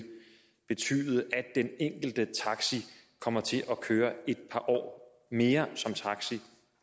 betyde det at den enkelte taxi kommer til at køre et par år mere som taxi